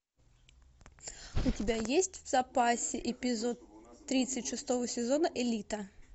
у тебя есть в запасе эпизод тридцать шестого сезона элита